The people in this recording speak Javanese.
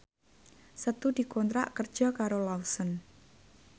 Setu dikontrak kerja karo Lawson